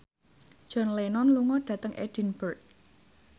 John Lennon lunga dhateng Edinburgh